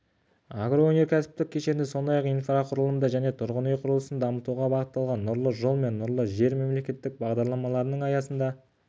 агроөнеркәсіптік кешенді сондай-ақ инфрақұрылымды және тұрғын үй құрылысын дамытуға бағытталған нұрлы жол мен нұрлы жер мемлекеттік бағдарламаларының айдағы нәтижелері сарапқа салынады